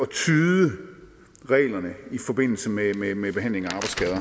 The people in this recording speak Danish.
tyde reglerne i forbindelse med behandlingen